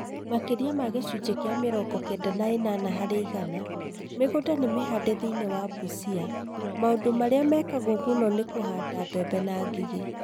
Maki͂ria ma gi͂cunji͂ ki͂a mi͂rongo kenda na i͂nana hari͂ igana ,mi͂gunda ni mihande thi͂ini͂ wa Busia, mau͂ndu mari͂a mekagwo mu͂no ni ku͂handa mbebe na ngigi͂.